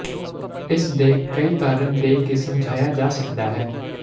ਇਸ ਦੇ ਕਈ ਕਾਰਨ ਦੇ ਕੇ ਸਮਝਾਇਆ ਜਾ ਸਕਦਾ ਹੈ